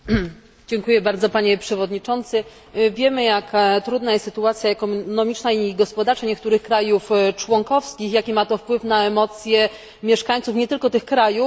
Wiemy, jak trudna jest sytuacja ekonomiczna i gospodarcza niektórych krajów członkowskich, jaki ma to wpływ na emocje mieszkańców, nie tylko tych krajów, i na decyzje podejmowane przez poszczególne rządy.